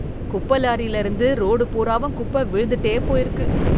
குப்பை லாரியிலிருந்து ரோடு பூராவும் குப்பை விழுந்துட்டே போயிருக்கு.